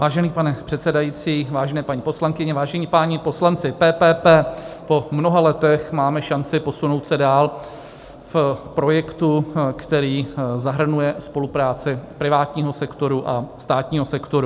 Vážený pane předsedající, vážené paní poslankyně, vážení páni poslanci, PPP - po mnoha letech máme šanci posunout se dál v projektu, který zahrnuje spolupráci privátního sektoru a státního sektoru.